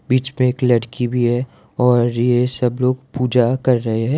बीच पे एक लड़की भी है और ये सब लोग पूजा कर रहे हैं।